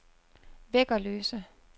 Væggerløse